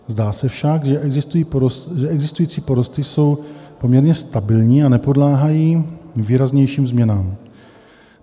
Zdá se však, že existující porosty jsou poměrně stabilní a nepodléhají výraznějším změnám.